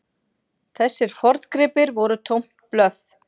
Þessir forngripir voru tómt blöff.